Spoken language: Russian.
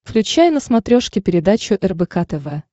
включай на смотрешке передачу рбк тв